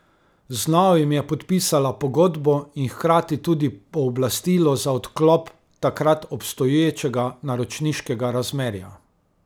Z novim je podpisala pogodbo in hkrati tudi pooblastilo za odklop takrat obstoječega naročniškega razmerja.